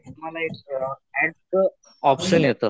तुम्हाला एक ऍड च ऑपशन येत.